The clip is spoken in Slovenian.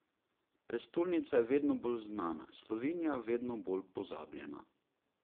Prestolnica je vedno bolj znana, Slovenija vedno bolj pozabljena.